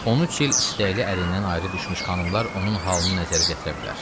13 il istəkli ərindən ayrı düşmüş xanımlar onun halını nəzərə gətirə bilər.